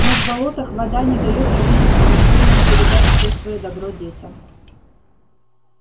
но в болотах вода не даёт родителям-растениям передать все своё добро детям